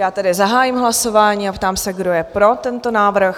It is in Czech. Já tedy zahájím hlasování a ptám se, kdo je pro tento návrh?